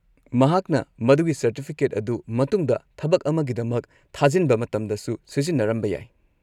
ꯃꯍꯥꯛꯅ ꯃꯗꯨꯒꯤ ꯁꯔꯇꯤꯐꯤꯀꯦꯠ ꯑꯗꯨ ꯃꯇꯨꯡꯗ ꯊꯕꯛ ꯑꯃꯒꯤꯗꯃꯛ ꯊꯥꯖꯤꯟꯕ ꯃꯇꯝꯗꯁꯨ ꯁꯤꯖꯤꯟꯅꯔꯝꯕ ꯌꯥꯏ꯫